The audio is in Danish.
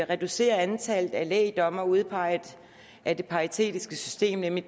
reducerer antallet af lægdommere udpeget af det paritetiske system nemlig